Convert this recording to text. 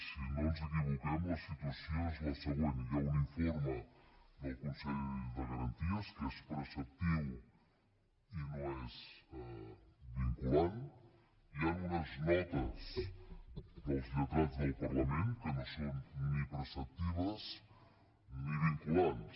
si no ens equivoquem la situació és la següent hi ha un informe del consell de garanties que és preceptiu i no és vinculant hi han unes notes dels lletrats del parlament que no són ni preceptives ni vinculants